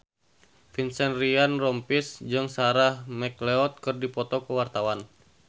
Vincent Ryan Rompies jeung Sarah McLeod keur dipoto ku wartawan